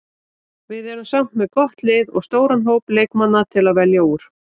Við erum samt með gott lið og stóran hóp leikmanna til að velja úr.